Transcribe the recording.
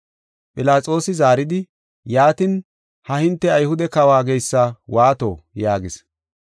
Philaxoosi zaaridi, “Yaatin, ha hinte Ayhude kawo geysa waato?” yaagis.